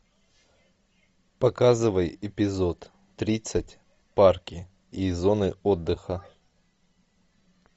показывай эпизод тридцать парки и зоны отдыха